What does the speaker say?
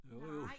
Jo jo